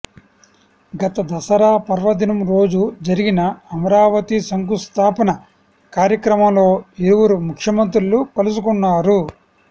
గత దసరా పర్వదినం రోజు జరిగిన అమరావతి శంకుస్థాపన కార్యక్రమంలో ఇరువురు ముఖ్యమంత్రులు కలుసుకున్నారు